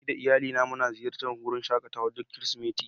Ni da iyalina muna ziyartar wurin shakatawa duk Kirsimeti.